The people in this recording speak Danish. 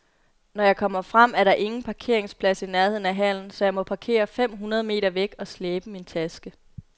Når jeg kommer frem, er der ingen parkeringsplads i nærheden af hallen, så jeg må parkere fem hundrede meter væk og slæbe min taske.